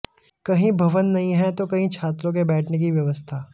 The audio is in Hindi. कहीं भवन नहीं हैं तो कहीं छात्रों के बैठने की व्यवस्था